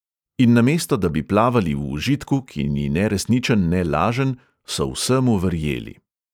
In namesto da bi plavali v užitku, ki ni ne resničen ne lažen, so vsemu verjeli.